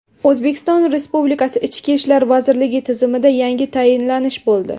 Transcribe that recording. O‘zbekiston Respublikasi Ichki ishlar vazirligi tizimida yangi tayinlanish bo‘ldi.